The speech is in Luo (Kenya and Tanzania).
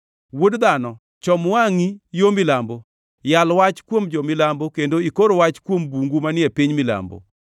Wuod dhano, chom wangʼi yo milambo; yal wach kuom jo-milambo kendo ikor wach kuom bungu manie piny milambo.